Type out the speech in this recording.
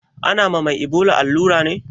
Ana ma mai ibola allura ne?